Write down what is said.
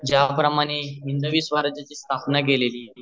ज्या प्रमाणे हिंदवी स्वराज्याची स्थापना केली